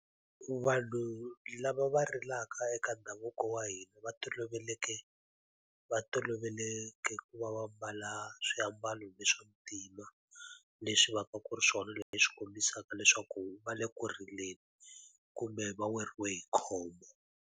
Vanhu lava va rilaka eka ndhavuko wa hina va toloveleke va toloveleke ku va va mbala swiambalo swa ntima, leswi va ka ku ri swona leswi kombisaka leswaku va le ku rileni kumbe va weriwe hi khombo.